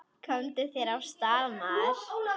Komdu þér af stað, maður!